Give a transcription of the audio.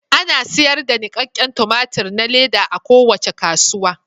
Ana sayar da nikakken tumatir na leda a kowace kasuwa.